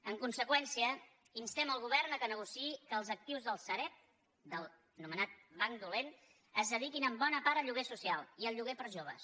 en conseqüència instem el govern que negociï que els actius de la sareb l’anomenat banc dolent es dediquin en bona part al lloguer social i al lloguer per a joves